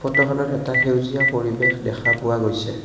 উক্তখনত এটা সেউজীয়া পৰিৱেশ দেখা পোৱা গৈছে।